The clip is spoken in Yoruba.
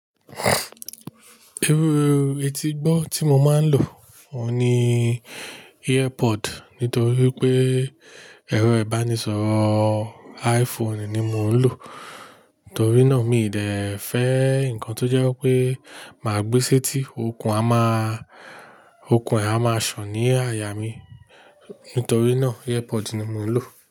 Irú etígbọ́ tí mo máa ń lò ni earpod nítorí pé ẹ̀rọ ìbánisọ̀rọ̀ iPhone ni mo ń lò. Nítorí náà mi ì dẹ fẹ́ nnkan tó jẹ́ pé má gbé sétí, okùn ẹ̀ a máa ṣọ̀ ní àyà mi. Nítorí náà earpod ni mo ń lò.